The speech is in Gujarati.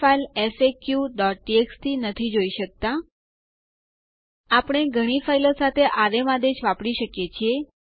નોંધ લો કે મેં કેપિટલ અક્ષરમાં જી ટાઇપ કર્યો છે